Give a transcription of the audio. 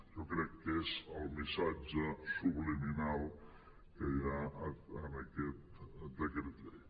jo crec que és el missatge subliminal que hi ha en aquest decret llei